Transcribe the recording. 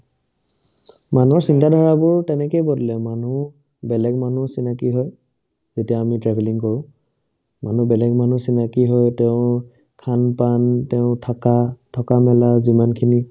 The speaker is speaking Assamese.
মানুহৰ চিন্তাধাৰাবোৰ তেনেকে বদ্লে মানুহ বেলেগ মানুহ চিনাকি হয় যেতিয়া আমি travelling কৰো মানুহ বেলেগ মানুহ চিনাকি হয় তেওঁৰ khan-pan তেওঁৰ থাকা থকা-মেলা যিমানখিনি